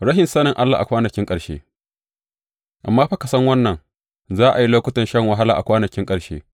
Rashin sanin Allah a kwanakin ƙarshe Amma fa ka san wannan, za a yi lokutan shan wahala a kwanakin ƙarshe.